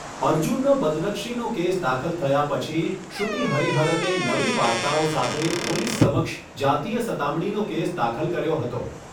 અર્જૂનનો બદનક્ષીનો કેસ દાખલ થયા પછી, શ્રુતિ હરિહરને નવી વાર્તાઓ સાથે પોલીસ સમક્ષ જાતીય સતામણીનો કેસ દાખલ કર્યો હતો.